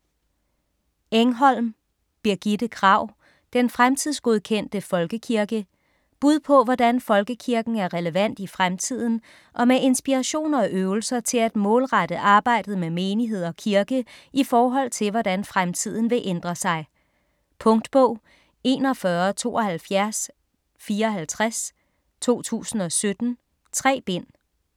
Engholm, Birgitte Kragh: Den fremtidsgodkendte folkekirke Bud på hvordan folkekirken er relevant i fremtiden, og med inspiration og øvelser til at målrette arbejdet med menighed og kirke i forhold til hvordan fremtiden vil ændre sig. Punktbog 417254 2017. 3 bind.